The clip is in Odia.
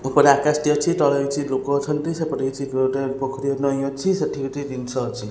ଉପରେ ଆକାଶ ଟେ ଅଛି ତଳେ କିଛି ଲୋକ ଅଛନ୍ତି ସେପଟେ କିଛି ପୋଖରୀ ନଇଁ ଅଛି ସେଠି ଗୋଟେ ଜିନିଷ ଅଛି।